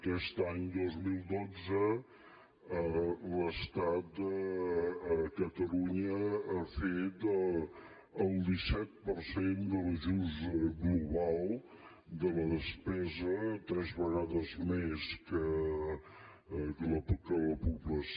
aquest any dos mil dotze l’estat a catalunya ha fet el disset per cent de l’ajust global de la despesa tres vegades més que la població